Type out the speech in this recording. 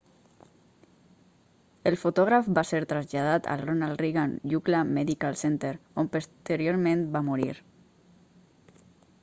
el fotògraf va ser traslladat al ronal reagan ucla medical center on posteriorment va morir